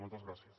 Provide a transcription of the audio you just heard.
moltes gràcies